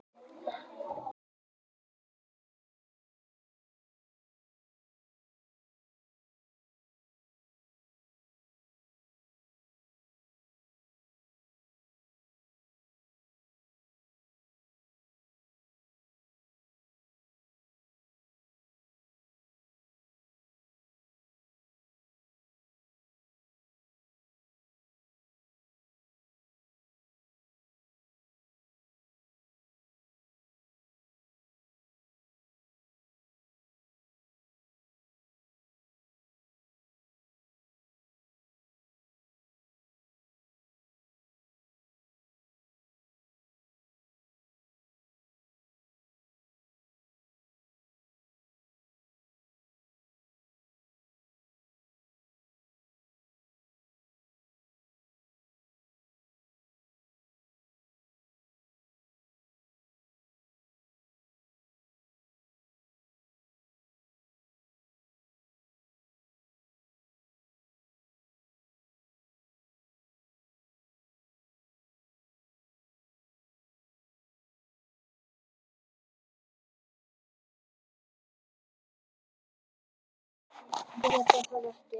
Geta það ekki.